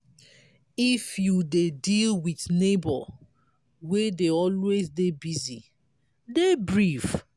if you dey deal with neigbour wey dey always dey busy dey brief